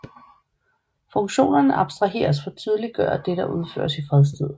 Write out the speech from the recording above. Funktionerne abstraheres for at tydeliggøre det der udføres i fredstid